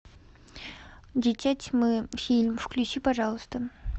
дитя тьмы фильм включи пожалуйста